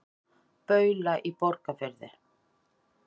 Baula í Borgarfirði.